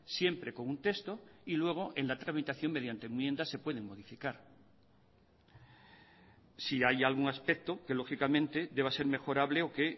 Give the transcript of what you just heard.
siempre con un texto y luego en la tramitación mediante enmiendas se pueden modificar si hay algún aspecto que lógicamente deba ser mejorable o que